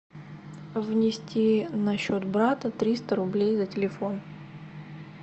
внести на счет брата триста рублей на телефон